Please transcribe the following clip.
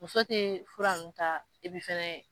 Muso tɛ fura nunnu ta fana.